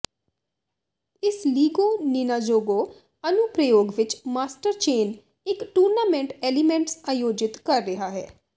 ਇਸ Lego Ninjago ਅਨੁਪ੍ਰਯੋਗ ਵਿੱਚ ਮਾਸਟਰ ਚੇਨ ਇਕ ਟੂਰਨਾਮੈਂਟ ਐਲੀਮੈਂਟਸ ਆਯੋਜਿਤ ਕਰ ਰਿਹਾ ਹੈ